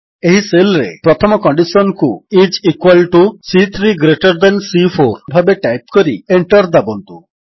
ଏହି ସେଲ୍ ରେ ପ୍ରଥମ କଣ୍ଡିଶନ୍ କୁ ଆଇଏସ ଇକ୍ୱାଲ୍ ଟିଓ ସି3 ଗ୍ରେଟର ଥାନ୍ ସି4 ଭାବେ ଟାଇପ୍ କରି Enter ଦାବନ୍ତୁ